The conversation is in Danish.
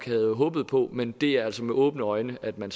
havde håbet på men det er altså med åbne øjne at man